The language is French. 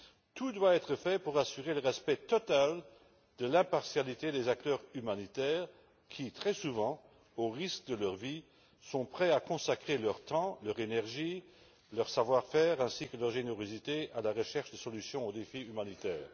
Tout doit être fait pour assurer le respect total de l'impartialité des acteurs humanitaires qui, très souvent, au péril de leur vie, sont prêts à consacrer leur temps, leur énergie, leur savoir faire ainsi que leur générosité à la recherche de solutions au défi humanitaire.